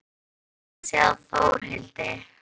Ég hlakka til að sjá Þórhildi.